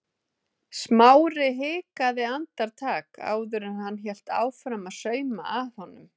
Smári hikaði andartak áður en hann hélt áfram að sauma að honum.